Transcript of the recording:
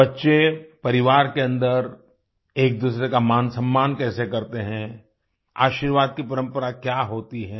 बच्चे परिवार के अंदर एकदूसरे का मानसम्मान कैसे करते हैं आशीर्वाद की परंपरा क्या होती है